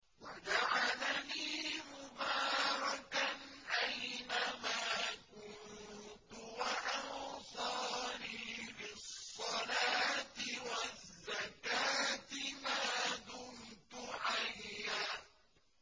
وَجَعَلَنِي مُبَارَكًا أَيْنَ مَا كُنتُ وَأَوْصَانِي بِالصَّلَاةِ وَالزَّكَاةِ مَا دُمْتُ حَيًّا